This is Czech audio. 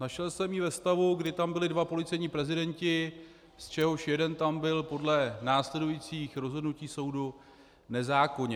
Našel jsem ji ve stavu, kdy tam byli dva policejní prezidenti, z čehož jeden tam byl podle následujících rozhodnutí soudu nezákonně.